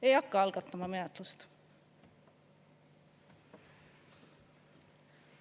Ei hakka algatama menetlust.